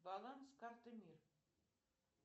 баланс карты мир